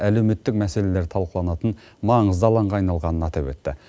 әлеуметтік мәселелер талқыланатын маңызды алаңға айналғанын атап өтті